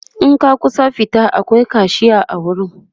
in ka kusa fita akwai kashiya a wurin